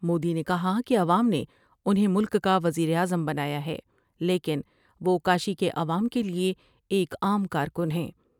مودی نے کہا کہ عوام نے انھیں ملک کا وزیراعظم بنایا ہے ، لیکن وہ کاشی کے عوام کے لئے ایک عام کارکن ہیں ۔